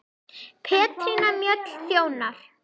Petrína Mjöll þjónar.